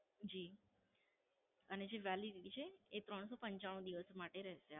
જી, અને જે Validity છે તે ત્રણસો પંચાણું દિવસ માટે રહેશે.